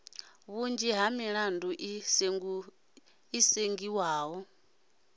vhunzhi ha milandu i sengiwa